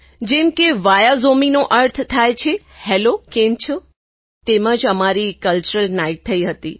જેમ કે વિયા ઝોમી નો અર્થ થાય છે હેલો કેમ છો તેમ જ અમારી કલ્ચરલ નાઇટ થઈ હતી